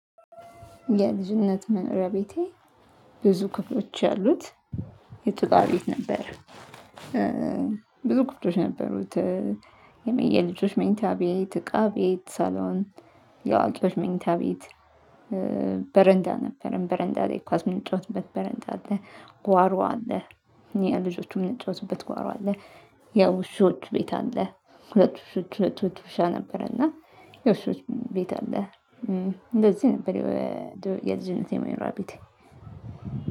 የልጅነት መኖሪያ ቤቴ ብዙ ክፍሎች ያሉት የጭቃ ቤት ነበረ ብዙ ክፍሎች ነበሩት የልጆች መኝታ ቤት፣ እቃ ቤት፣ ሳሎን የአዋቂዎች መኝታ ቤት በረንዳ ነበረን በረንዳ ላይ ኳስ ምንጨዋትበት በረንዳ አለ ጓሮ አለ የልጆቹ የምንጫወትበት ጓሮ አለ የዉሾት ቤት አለ። ሁለት ዉሾች አህቶች ዉሻ ነበረ እና የዉሾች ቤት አለ። እንደዚህ ነበር የልጅነቴ መኖሪያ ቤቴ።